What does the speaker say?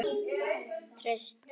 Trausti Jónsson